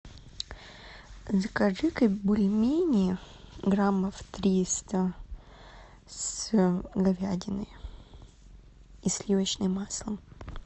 закажи ка бульмени граммов триста с говядиной и сливочным маслом